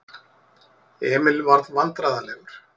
Emil varð vandræðalegur.